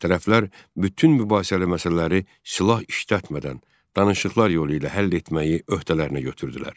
Tərəflər bütün mübahisəli məsələləri silah işlətmədən, danışıqlar yolu ilə həll etməyi öhdələrinə götürdülər.